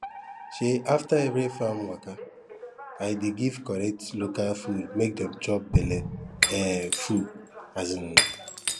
um after every farm waka i dey give correct local food make dem chop belle um full um